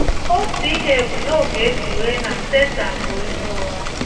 Otu ihe bụ́ na ọ ga - e kpughee na Setan bụ onye ụgha!